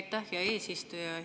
Aitäh, hea eesistuja!